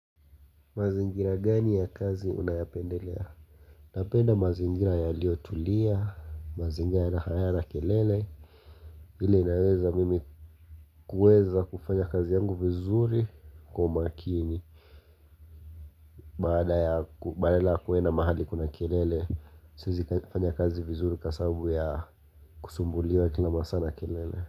Mazingira gani ya kazi unayapendelea? Napenda mazingira ya liotulia, mazingira ya hayana kelele, lile inaweza mimi kueza kufanya kazi yangu vizuri kwa makini. Bada ya badala kwenda mahali kuna kelele, sisi kufanya kazi vizuri kasabu ya kusumbuliwa kila masaa na kelele.